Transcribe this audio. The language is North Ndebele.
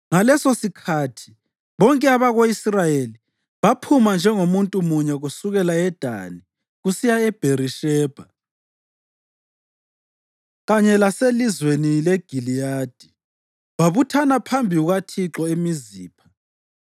Ngalesosikhathi bonke abako-Israyeli baphuma njengomuntu munye kusukela eDani kusiya eBherishebha kanye laselizweni leGiliyadi, babuthana phambi kukaThixo eMizipha.